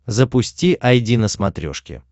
запусти айди на смотрешке